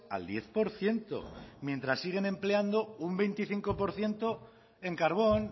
al diez por ciento mientras siguen empleando un veinticinco por ciento en carbón